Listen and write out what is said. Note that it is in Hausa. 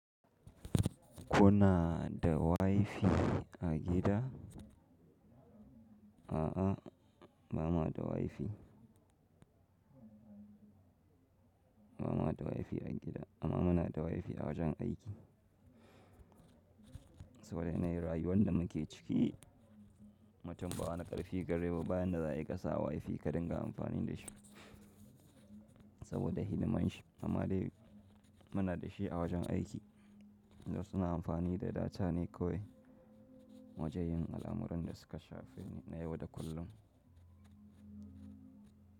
Kuna da wifi a gida? A'a, ba mu da wifi. Ba mu da wifi a gida, amma muna da wifi a wajen aiki. Saboda yanayin rayuwar da muke ciki, mutum ba wani ƙarfi gare ba bayan da za ƙasa wifi ka dinga amfani da shi saboda hidimanshi. Amma dai muna da shi a wajen aiki. Yanzu suna amfani da data ne kawai wajen yin al'amuran da suka shafi ni na yau da kullum.